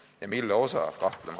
Istungi lõpp kell 17.47.